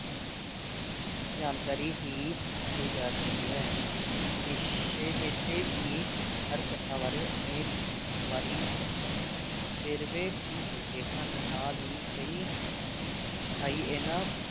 ਜਾਣਕਾਰੀ ਹੀ ਕਹੀ ਜਾ ਸਕਦੀ ਹੈ ਨੀਸ਼ੇ ਨਿਸਚੇ ਹੀ ਹਰ ਕਥਾ ਬਾਰੇ ਅਨੇਕ ਬਾਰੀਕ ਵੇਰਵੇ ਵੀ ਮਿਲਦੇ ਹਨ ਨਾਲ ਹੀ ਕਈ ਥਾਈਂ ਇਨ੍ਹਾਂ